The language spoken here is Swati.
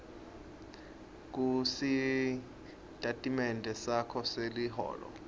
kusitatimende sakho seliholo